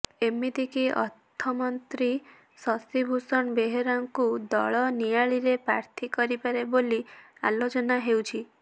ଏମିତିକି ଅର୍ଥମନ୍ତ୍ରୀ ଶଷି ଭୁଷଣ ବେହେରାଙ୍କୁ ଦଳ ନିଆଳିରେ ପ୍ରାର୍ଥୀ କରିପାରେ ବୋଲି ଆଲୋଚନା ହେଉଛି